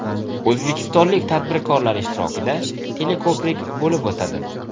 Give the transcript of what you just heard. O‘zbekistonlik tadbirkorlar ishtirokida teleko‘prik bo‘lib o‘tadi.